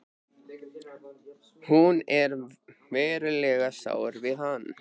Hún er verulega sár við hann.